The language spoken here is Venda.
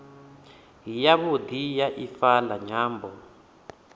yavhudi ya ifa la nyambo